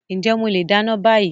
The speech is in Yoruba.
Ǹjẹ́ mo leè dáná bá yii.